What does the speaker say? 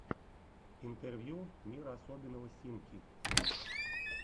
интервью мир особенного симки